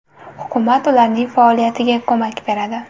Hukumat ularning faoliyatiga ko‘mak beradi.